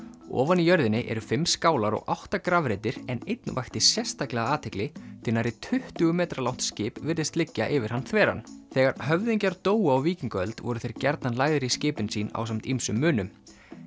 ofan í jörðinni eru fimm skálar og átta grafreitir en einn vakti sérstaka athygli því nærri tuttugu metra langt skip virðist liggja yfir hann þveran þegar höfðingjar dóu á víkingaöld voru þeir gjarnan lagðir í skipin sín ásamt ýmsum munum